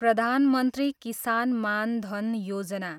प्रधान मन्त्री किसान मान धन योजना